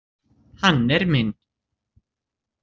Hann er minn.